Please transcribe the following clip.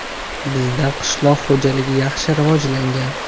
Bizda qishloq xo‘jaligi yaxshi rivojlangan.